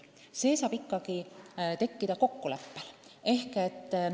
See töökorraldus saab ikkagi tekkida kokkuleppel.